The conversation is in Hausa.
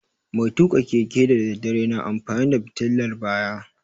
Mai tuƙa keke da daddare na amfani da fitilar baya